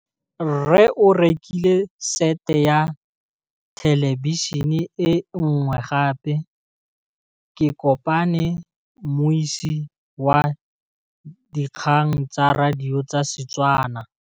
Rre o rekile sete ya thêlêbišênê e nngwe gape. Ke kopane mmuisi w dikgang tsa radio tsa Setswana.